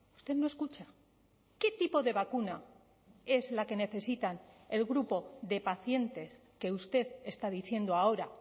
usted no escucha qué tipo de vacuna es la que necesitan el grupo de pacientes que usted está diciendo ahora